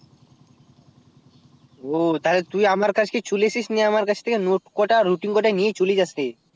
ও তাহলে তুই আমার কাছকে চলে আসিস নিয়ে আমার কাছ থেকে note কটা আর routine কটা নিয়ে চলে যাস রে